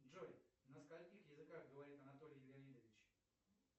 джой на скольких языках говорит анатолий леонидович